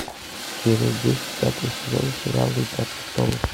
серия десять пятого сезона сериала игра престолов